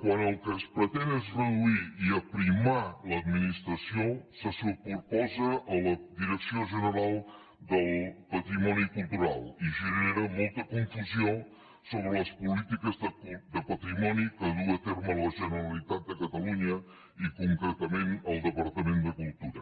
quan el que es pretén és reduir i aprimar l’administració se superposa a la direcció general del patrimoni cultural i genera molta confusió sobre les polítiques de patrimoni que duu a terme la generalitat de catalunya i concretament el departament de cultura